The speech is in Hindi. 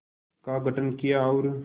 का गठन किया और